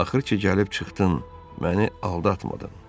Axır ki, gəlib çıxdın, məni aldatmadın.